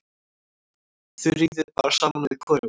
Þuríði bar saman við hvorugan.